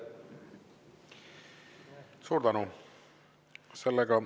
Suur tänu!